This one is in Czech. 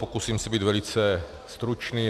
Pokusím se být velice stručný.